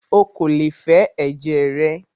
Ó kò lè fẹ ẹ̀jẹ̀ rẹ!